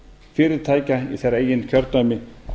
fyrirtækja í þeirra eigin kjördæmi